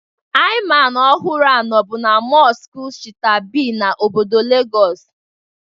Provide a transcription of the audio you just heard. Imam ọhụrụ a nọbụ na mọskụ Shita-Be n'obodo Legọs